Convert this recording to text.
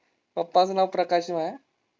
पप्पांचं नाव प्रकाश आहे.